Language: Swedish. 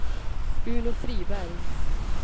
Uno Friberg